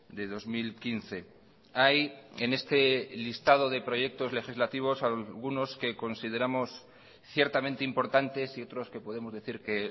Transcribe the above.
de dos mil quince hay en este listado de proyectos legislativos algunos que consideramos ciertamente importantes y otros que podemos decir que